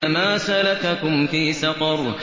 مَا سَلَكَكُمْ فِي سَقَرَ